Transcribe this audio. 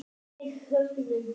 Við höfðum